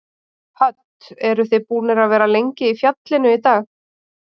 Hödd: Eruð þið búnir að vera lengi í fjallinu í dag?